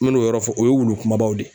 N me n'o yɔrɔ fɔ o ye wulu kumabaw de ye